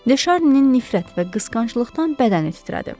De Şarninin nifrət və qısqanclıqdan bədəni titrədi.